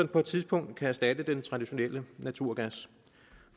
på et tidspunkt kan erstatte den traditionelle naturgas